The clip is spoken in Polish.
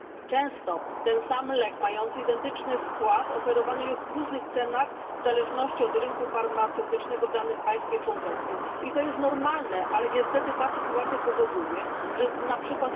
Często ten sam lek mający identyczny skład oferowany jest w różnych cenach w zależności od rynku farmaceutycznego w danym państwie członkowskim i to jest normalne, ale niestety ta sytuacja powoduje np.